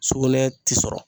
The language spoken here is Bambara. Sugunɛ ti sɔrɔ.